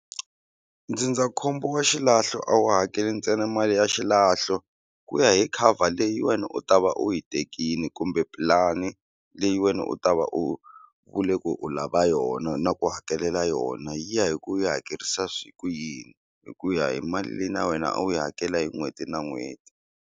Ndzindzakhombo wa xilahlo a wu hakeli ntsena mali ya xilahlo ku ya hi cover leyi wena u ta va u yi tekini kumbe pulani leyi wena u ta va u vule ku u lava yona na ku hakelela yona yi ya hi ku yi hakerisa ku yini hi ku ya hi mali leyi na wena a wu yi hakela hi n'hweti na n'hweti.